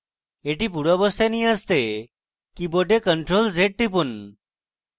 এটি পূর্বাবস্থায় নিয়ে আসতে কীবোর্ডে ctrl + z টিপুন